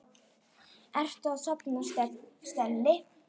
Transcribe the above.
Ertu að safna stelli?